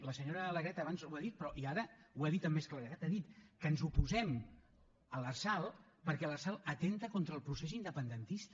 la senyora alegret abans ho ha dit i ara ho ha dit amb més claredat ha dit que ens oposem a l’lrsal perquè l’lrsal atempta contra el procés independentista